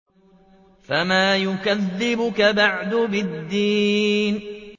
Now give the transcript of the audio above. فَمَا يُكَذِّبُكَ بَعْدُ بِالدِّينِ